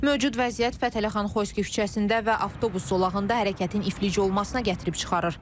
Mövcud vəziyyət Fətəli xan Xoyski küçəsində və avtobus zolağında hərəkətin iflic olmasına gətirib çıxarır.